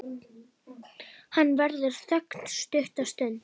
Það verður þögn stutta stund.